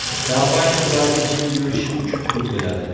Kompaniya ularga jim yurishi uchun pul to‘ladi.